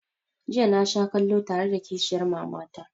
Jiya na sha kallo tare da kishiyar mama ta